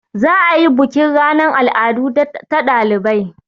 Za a yi bukin ranan al'adu ta ɗalibai.